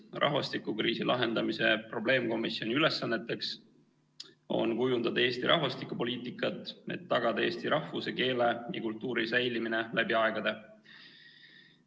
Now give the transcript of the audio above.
Rahvastikukriisi lahendamise probleemkomisjoni ülesanneteks on kujundada Eesti rahvastikupoliitikat, et tagada eesti rahvuse, keele ja kultuuri säilimine läbi aegade.